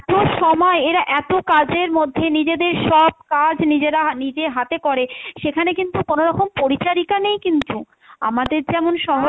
এত সময় এরা এত কাজের মধ্যে নিজেদের সব কাজ নিজেরা নিজে হাতে করে সেখানে কিন্তু কোনো রকম পরিচারিকা নেই কিন্তু, আমাদের যেমন শহরে